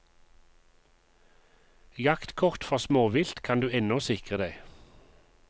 Jaktkort for småvilt kan du ennå sikre deg.